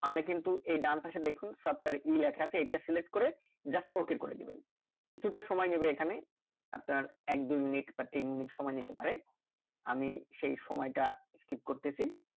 আমরা কিন্তু এই ডান পাশে দেখুন software e লেখা আছে এটা select করে just ok করে দেবেন কিছুটা সময় নেবে এখানে আপনার এক দুই মিনিট বা তিন মিনিট সময় নিতে পারে। আমি সেই সময়টা skip করতেছি